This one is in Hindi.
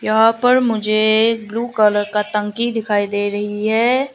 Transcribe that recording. यहां पर मुझे ब्लू कलर का टंकी दिखाई दे रही है।